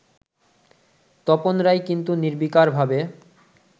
তপন রায় কিন্তু নির্বিকারভাবে